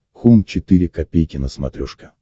хоум четыре ка на смотрешке